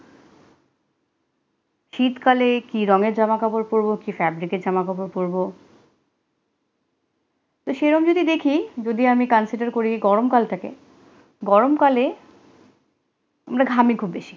শীতকালে কি রঙের জামা কাপড় পড়বো, কি fabric এর জামাকাপড় পরবো তো সেরম যদি দেখি যদি আমি, consider করি গরমকাল থাকে গরমকালে ঘামে খুব বেশি